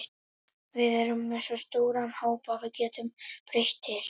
Við erum með svo stóran hóp að við getum breytt til.